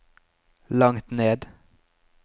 langt ned